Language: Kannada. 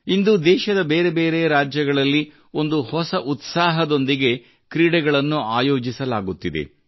ಇಂದು ದೇಶದ ಬೇರೆ ಬೇರೆ ರಾಜ್ಗಳಲ್ಲಿ ಒಂದು ಹೊಸ ಉತ್ಸಾಹದೊಂದಿಗೆ ಕ್ರೀಡೆಗಳನ್ನು ಆಯೋಜಿಸಲಾಗುತ್ತಿದೆ